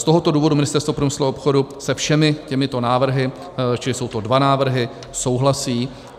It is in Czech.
Z tohoto důvodu Ministerstvo průmyslu a obchodu se všemi těmito návrhy - čili jsou to dva návrhy - souhlasí.